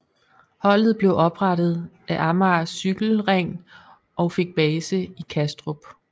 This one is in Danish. Holdet blev oprettet af Amager Cykle Ring og fik base i Kastrup